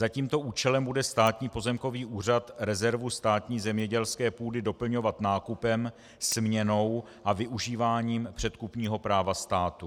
Za tímto účelem bude Státní pozemkový úřad rezervu státní zemědělské půdy doplňovat nákupem, směnou a využíváním předkupního práva státu.